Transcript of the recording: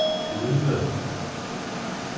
Gudme